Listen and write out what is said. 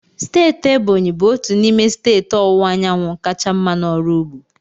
Steeti Ebonyi bụ otu n'ime steeti ọwụwa anyanwụ kacha mma n'ọrụ ugbo.